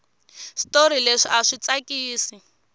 switori leswi aswi tsakisi